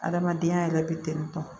Adamadenya yɛrɛ bɛ tentɔ